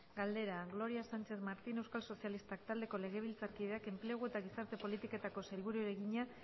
galdera gloria sánchez martín euskal sozialistak taldeko legebiltzarkideak enplegu eta gizarte politiketako sailburuari egina